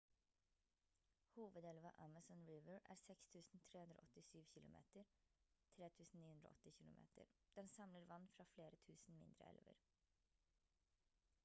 hovedelva amazon river er 6 387 km 3 980 km. den samler vann fra flere tusen mindre elver